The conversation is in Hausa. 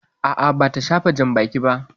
A'a, bata shafa janbaki ba.